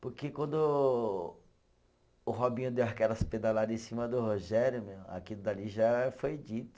Porque quando o Robinho deu aquelas pedalada em cima do Rogério, meu, aquilo dali já foi dito.